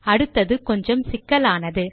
அடுத்தது கொஞ்சம் சிக்கலானது